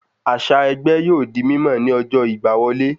Àṣà ẹgbẹ́ yóò di mímọ̀ ni ọjọ́ ìgbà wọlé